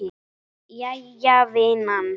Jæja vinan.